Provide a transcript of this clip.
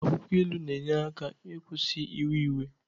akwukwo ilu na-enyere aka ịkwụsị iwe iwe